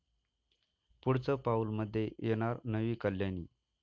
पुढचं पाऊल'मध्ये येणार नवी कल्याणी